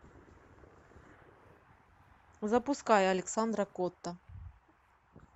запускай александра котта